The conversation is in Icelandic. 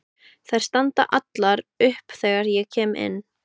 Þær standa allar upp þegar ég kem inn.